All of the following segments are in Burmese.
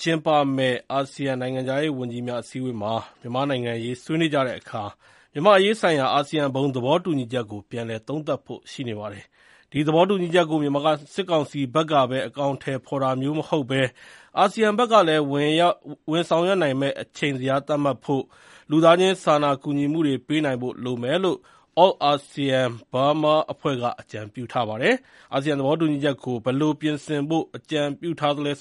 ကျင်းပမယ့် အာဆီယံ နိုင်ငံခြားရေးဝန်ကြီးများအစည်းအဝေးမှာ မြန်မာ့နိုင်ငံရေးဆွေးနွေးကြတဲ့အခါ မြန်မာ့အရေးဆိုင်ရာ အာဆီယံဘုံသဘောတူညီချက်ကို ပြန်လည်သုံးသပ်ဖို့ရှိနေပါတယ်။ ဒီ သဘောတူညီချက်ကို မြန်မာစစ် ကောင်စီဘက်ကပဲ အကောင်အထည်ဖော်တာမျိုးမဟုတ်ဘဲ အာဆီယံဘက်ကလည်း ဝင်ဆောင်ရွက်နိုင်မယ့် အချိန်ဇယားသတ်မှတ်ဖို့ လူသားချင်းစာနာကူညီမှုတွေပေးနိုင်ဖို့ လိုမယ်လို့ Altsean Burma အဖွဲ့က အကြံပြုထားပါတယ်။ အာဆီယံသဘောတူညီချက်ကို ဘယ်လို ပြင်ဆင်ဖို့ အကြံပြုဖို့ထားသလဲ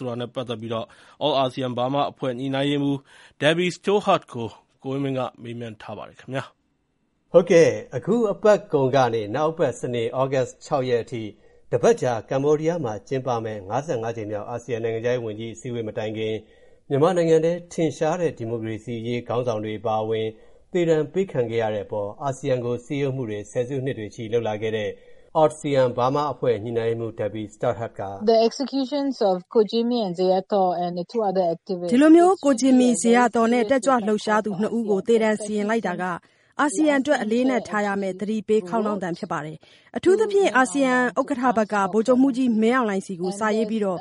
Altsean Burma အဖွဲ့ ညှိုနှိုင်းရေးမှူး Debbie Stothard ကို ကိုဝင်းမင်းက မေးထားပါတယ်။ အခု သီတင်းပတ်ကုန်ကနေ နောက်သီတင်းပတ် စနေနေ့ သြဂုတ်လ ၆ ရက်အထိ ကမ္ဘောဒီးယားမှာ တပတ်ကြာကျင်းပမယ့် ကြိမ်မြောက် အာဆီယံ နိုင်ငံခြားရေးဝန်ကြီးများ အစည်းအဝေးမတိုင်ခင် မြန်မာနိုင်ငံထဲ ထင်ရှားတဲ့ ဒီမိုကရေစီအရေးခေါင်းဆောင်တွေအပါအဝင် သေဒဏ်အပေးခံခဲ့ရတဲ့အပေါ် အာဆီယံကို အာဆီယံကို ဆယ်စုနှစ်တွေနဲ့ချီ စည်းရုံးရေးတွေလုပ်လာခဲ့တဲ့ အာဆီယံဘားမားအဖွဲ့ ညှိနှိုင်းရေးမှူး Debbie Stothard က အခုလို ပြောပါတယ်။ “ကိုဂျင်မီ၊ ကိုဇေယျာသော်နဲ့ တက်ကြွလူပ်ရှားသူ ၂ ဦးကို သေဒဏ်စီရင်လိုက်တာက အာဆီယံအတွက် အလေးအနက်ထားရမယ့် သတိပေးခေါင်းလောင်းသံပါ။ အထူးသဖြင့် အာဆီယံ ဥက္ကဋ္ဌဘက်က ဗိုလ်ချုပ်မှူးကြီး မင်းအောင်လှိုင်ဆီ စာရေးပြီး သေ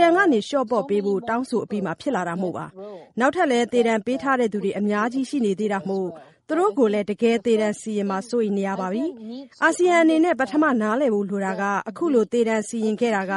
ဒဏ်ကနေ လျော့ပေါ့ပေးဖို့ တောင်းဆိုအပြီးမှာ ဖြစ်လာတာမို့ပါ။ နောက် ထပ်လည်း သေဒဏ်ပေးထားသူတွေ အများကြီးရှိနေသေးတာမို့ သူတို့ကိုလည်း တကယ် သေဒဏ်စီရင်မှာ စိုးရိမ်နေရပါပြီ။ အာဆီယံအနေနဲ့ ပထမ နားလည်ဖို့ လိုတာက အခုလို သေဒဏ်စီရင်ခဲ့တာက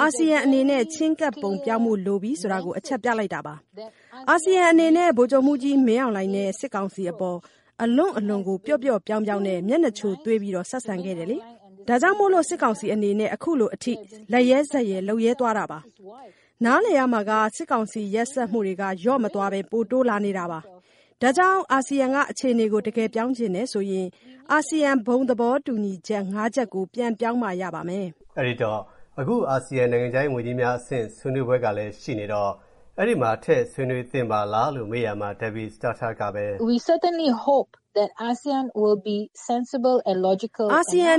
အာဆီယံအနေန့ဲ ချဉ်းကပ်ပုံပြောင်းဖို့လိုပြီဆိုတော အချက်ပြလိုက်တာပါ။ အာဆီယံအနေနဲ့ ဗိုလ်ချုပ်မှူးကြီး မင်းအောင်လှိုင် နဲ့ စစ်ကောင်စီအပေါ် အလွန့်အလွန်ကို ပျော့ပျော့ပြောင်းပြောင်းနဲ့ မျက်နှာချိုသွေး ဆက်ဆံခဲ့တယ်လေ။ ဒါကြောင့်မို့ စစ်ကောင်စီအနေနဲ့ အခုလိုအထိ လက်ရဲဇက်ရဲ လုပ်ရဲသွားတာပါ။ နားလည်ရမှာက စစ်ကောင်စီ ရက်စက်မှုတွေက လျော့မသွားဘဲ ပိုတိုးလာနေတာပါ။ ဒါကြောင့် အာဆီယံက အခြေအနေကို တကယ်ပြောင်းချင်ရင် အာဆီယံ ဘုံသဘောတူချက် ၅ ချက်ကို ပြန်ပြောင်းမှ ရပါမယ်။” အဲဒီတော့ အခု အာဆီယံ နိုင်ငံခြားရေးဝန်ကြီးများအဆင့် ဆွေးနွေးပွဲကလည်း ရှိနေတော့ အဲဒီမှာ ထည့်ပြီး ဆွေးနွေးသင့်ပါလားဆိုပြီး မေးရာမှာ Debbie Stothard ကပဲ အခုလို ရှင်းပြသွားပါတယ်။ “အာဆီယံအ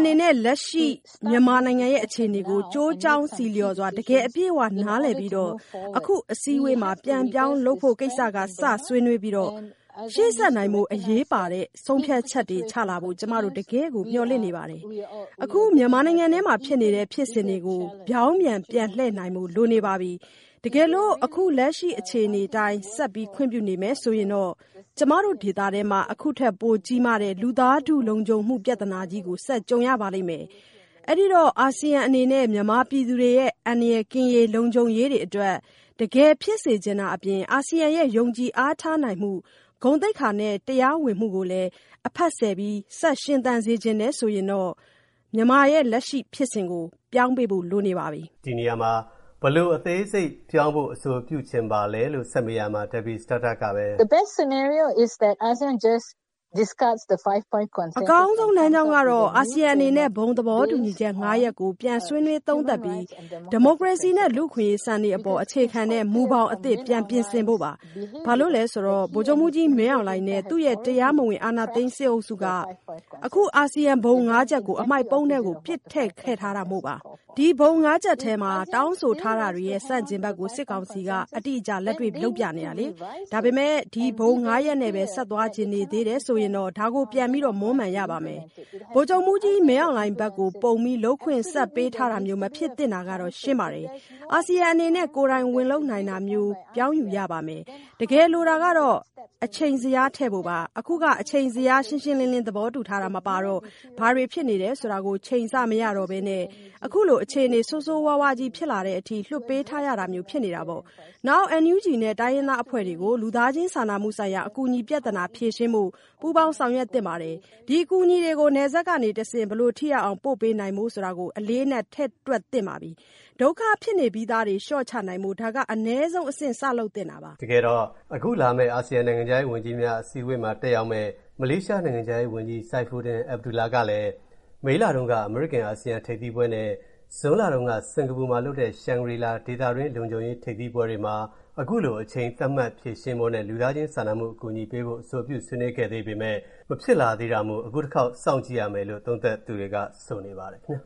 နေနဲ့ လက်ရှိ မြန်မာအခြေအနေကို ကျိုးကြောင်းဆီလျှော်စွာ တကယ် အပြည့်အဝနားလည်ပြီး အခုအစည်းအဝေးမှာ ပြန်ပြောင်းလုပ်ဖို့ကိစ္စ၊ စ ဆွေးနွေးကာ၊ ရှေ့ဆက်နိုင်ဖို့ အရေးပါတဲ့ ဆုံးဖြတ်ချက်တွေ ချလာဖို့ ကျမတို့ တကယ့်ကို မျှော်လင့်နေပါတယ်။ အခုမြန်မာနိုင်ငံထဲမှာ ဖြစ်နေတဲ့ ဖြစ်စဉ်တွေကို ပြောင်းပြန် ပြန်လှည့်နိုင်ဖို့ လိုနေပါပြီ။ တကယ်လို့ အခု လက်ရှိအခြေအနေအတိုင်း ဆက်ခွင့်ပြုနေမယ် ဆိုရင်တော့ ကျမတို့ ဒေသထဲမှာ အခုထက် ပိုကြီးမားတဲ့ လူသားထုလုံခြုံမှု ပြဿနာကြီးကို ဆက်ကြုံရပါလိမ့်မယ်။ အဲ့ဒိတော့ အာဆီယံအနေနဲ့ မြန်မာပြည်သူတွေရဲ့ အန္တရာယ်ကင်းရေး၊ လုံခြုံရေးတွေအတွက် တကယ်ဖြစ်စေချင်တာအပြင် အာဆီယံရဲ့ ယုံကြည်အားထားနိုင်မှု၊ ဂုဏ်သိက္ခာနဲ့ တရားဝင်မှုကိုလည်း အဖတ်ဆယ် ဆက်ရှင်သန်စေချင်တယ်ဆိုရင်တော့ မြန်မာလက်ရှိဖြစ်စဉ်ကို ပြောင်းပေးဖို့ လိုနေပါပြီ။” ဘယ်လိုအသေးစိတ်ပြောင်းလဲဖို့ အဆိုပြုချင်ပါသလဲလို့ ဆက်မေးရာမှာတော့ သူက အခုလို ပြောပါတယ်။ “အကောင်းဆုံး လမ်းကြောင်းကတော့ အာဆီယံအနေနဲ့ ဘုံသဘောတူချက် ၅ ရပ် ကို ပြန်ဆွေးနွေးသုံးသပ်ပြီး ဒီမိုကရေစီနဲ့ လူ့အခွင့်အရေး စံတွေအပေါ် အခြေခံတဲ့ မူဘောင်အသစ် ပြန်ပြင်ဆင်ဖို့ပါ။ ဘာလို့လဲဆိုတော့ ဗိုလ်ချုပ်မှူးကြီးမင်းအောင်လှိုင်နဲ့ သူ့ရဲ့ တရားမဝင်အာဏာသိမ်းစစ်အုပ်စုက အခု အာဆီယံဘုံ ၅ ချက်ကို အမှိုက်ပုံးထဲ ပစ်ထည့်ထားခဲ့တာမို့ပါ။ ဒီဘုံ ၅ ချက်မှာ တောင်းဆိုထားတာတွေရဲ့ ဆန့်ကျင်ဘက်ကို ဒီ စစ်ကောင်စီက အတိအကျ လက်တွေ့လုပ်ပြနေတာလေ။ ဒါပေမယ့် ဒီ ဘုံ ၅ ရပ်နဲ့ပဲ ဆက်သွားချင်သေးတယ်ဆိုရင်တော့ ဒါကို ပြန် မွမ်းမံရပါမယ်။ ဗိုလ်ချုပ်မှူးကြီးမင်းအောင်လှိုင်ဘက်ကို ပုံပြီး လုပ်ခွင့် ဆက်ပေးထားတာမျိုးမဖြစ်သင့်တော့တာ ရှင်းပါတယ်။ အာဆီယံအနေနဲ့ ကိုယ်တိုင်ဝင်လုပ်နိုင်တာမျိုး ပြောင်းယူရပါမယ်။ တကယ်လိုတာက အချိန်ဇယားထည်ဖို့ပါ။ အခုက အချိန်ဇယား ရှင်းရှင်းလင်းလင်း သဘာတူထားတာ မပါတော့ ဘာတွေဖြစ်နေတယ်ဆိုတာ ချိန်ဆမရတော့ဘဲ အခုလို အခြေအနေ ဆိုးဆိုးဝါးဝါးကြီးဖြစ်လာတဲ့အထိ လွှတ်ပေးထားရတာမျိုး ဖြစ်နေတာပေါ့။ နောက် NUG နဲ့ တိုင်းရင်းသားအဖွဲ့တွေကို လူသားချင်းစာနာမှုဆိုင်ရာ အကူအညီပြဿနာဖြေရှင်းဖို့ ပူးပေါင်းဆောင်ရွက်သင့်ပါတယ်။ ဒီအကူအညီတွေကို နယ်စပ်ကနေတဆင့် ဘယ်လို ထိရောက်အောင် ပို့ပေးနိုင်ဖို့ကို အလေးအနက် ထည့်တွက်သင့်ပါပြီ။ ဒုက္ခဖြစ်နေပြီးသားတွေ လျှော့ချနိုင်ဖို့ ဒါက အနည်းဆုံးအဆင့် စလုပ်သင့်တာပါ။” တကယ်တော့ အခုလာမယ့် အာဆီယံနိုင်ငံခြားရေးဝန်ကြီးများ အစည်းအဝေးမှာ တက်ရောက်မယ့် မလေးရှားနိုင်ငံခြားရေးဝန်ကြီး Saifuddin Abdullah ကလည်း မေလတုန်းက အမေရိကန်-အာဆီယံ ထိပ်သီးဆွေးနွေးပွဲနဲ့ ဇွန်လတုန်းက စင်္ကာပူမှာလုပ်တဲ့ ရှန်ဂရီလာ ဒေသတွင်းလုံခြုံရေး ထိပ်သီးပွဲတွေမှာ အခုလို အချိန်သတ်မှတ်ဖြေရှင်းဖို့နဲ့ လူသားချင်းစာနာမှုအကူအညီပေးဖို့ ထည့်သွင်းဆွေးနွေးခဲ့သေးပေမယ့် မဖြစ်လာသေးတာမို့ အခုတခေါက်စောင့်ကြည့်ရမယ်လို့ သုံးသပ်သူတွေက ဆိုနေပါတယ်ခင်ဗျာ